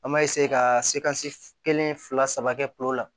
An b'a ka se ka se kelen fila saba kɛ kulo la